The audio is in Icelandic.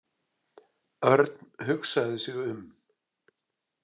Örn hugsaði sig um.